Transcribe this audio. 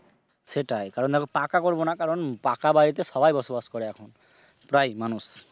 সেটাই কারণ দেখো পাকা করবো না কারণ পাকা বাড়িতে সবাই বসবাস করে এখন প্রায় মানুষ।